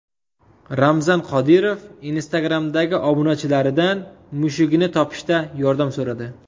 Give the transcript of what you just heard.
Ramzan Qodirov Instagram’dagi obunachilaridan mushugini topishda yordam so‘radi.